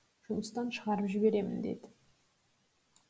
жұмыстан шығарып жіберемін деді